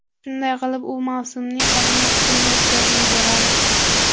Shunday qilib, u mavsumning qolgan qismini o‘tkazib yuboradi.